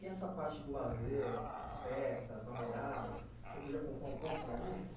E essa parte do lazer, as festas, namoradas, o senhor podia contar um pouco para a gente?